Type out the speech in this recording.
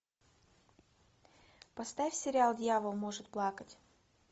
поставь сериал дьявол может плакать